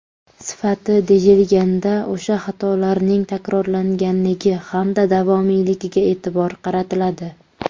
Sifati deyilganda o‘sha xatolarning takrorlanganligi hamda davomiyligiga e’tibor qaratiladi.